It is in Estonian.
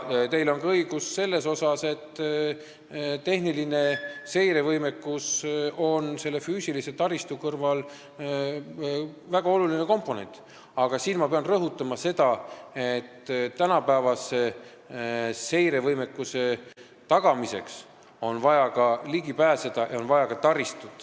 Teil on õigus selles, et tehnilise seire võimekus on füüsilise taristu kõrval väga oluline komponent, aga siin ma pean rõhutama, et tänapäevase seirevõimekuse tagamiseks on vaja ligipääsu ja on vaja ka taristut.